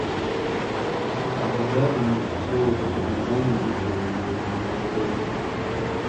абу даби золото под ногами ютуб открыть